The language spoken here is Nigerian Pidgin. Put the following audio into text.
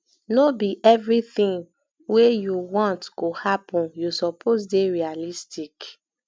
no be everytin wey you want go happen you suppose dey realistic